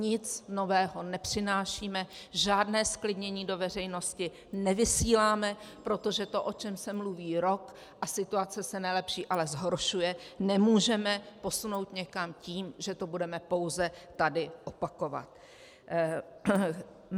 Nic nového nepřinášíme, žádné zklidnění do veřejnosti nevysíláme, protože to, o čem se mluví rok, a situace se nelepší, ale zhoršuje, nemůžeme posunout někam tím, že to budeme pouze tady opakovat.